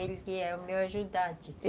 Ele que é o meu ajudante.